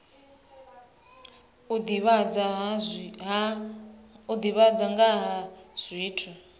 u divhadza nga ha zwithu